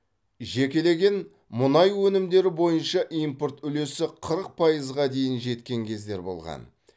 жекелеген мұнай өнімдері бойынша импорт үлесі қырық пайызға дейін жеткен кездер болған